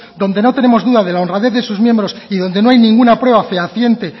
donde no tenemos duda de la honradez de sus miembros y donde no hay ninguna prueba fehaciente